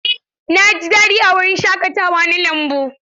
Eh na ji daɗi a wurin shaƙatawa na lambu.